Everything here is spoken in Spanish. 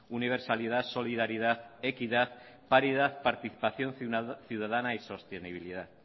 universalidad solidaridad equidad paridad participación ciudadana y sostenibilidad